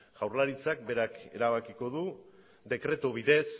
jaurlaritzak berak erabakiko du dekretu bidez